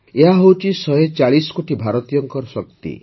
ଏହା ହେଉଛି ୧୪୦ କୋଟି ଭାରତୀୟଙ୍କ ଶକ୍ତି